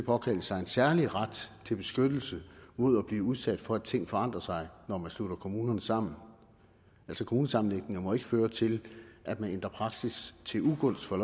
påkalde sig en særlig ret til beskyttelse mod at blive udsat for at ting forandrer sig når man slutter kommunerne sammen altså kommunesammenlægninger må ikke føre til at man ændrer praksis til ugunst for